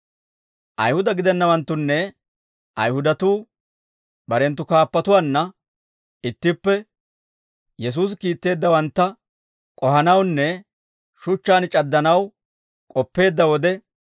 Ayihuda gidennawanttunne Ayihudatuu barenttu kaappatuwaanna ittippe Yesuusi kiitteeddawantta k'ohanawunne shuchchaan c'addanaw k'oppeedda wode,